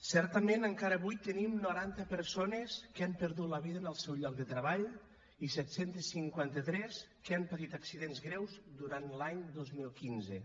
certament encara avui tenim noranta persones que han perdut la vida en el seu lloc de treball i set cents i cinquanta tres que han patit accidents greus durant l’any dos mil quinze